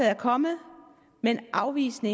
er kommet men afvisende